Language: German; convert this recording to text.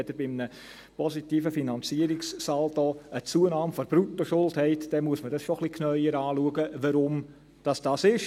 Wenn Sie bei einem positiven Finanzierungssaldo eine Zunahme der Bruttoschuld haben, dann muss man schon ein bisschen genauer schauen, weshalb dies so ist.